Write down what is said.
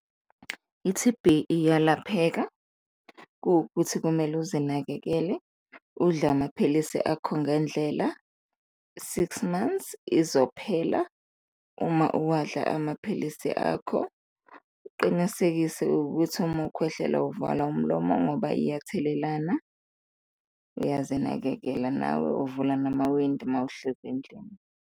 I-T_B iyalapheka, kuwukuthi kumele uzinakekele, udle amaphilisi akho ngendlela, six months izophela uma uwadla amaphilisi akho. Uqinisekise ukuthi uma ukhwehlela uvala umlomo ngoba iya telelana, uyazi nakekela nawe, uvula namawindi mawuhleli endlini.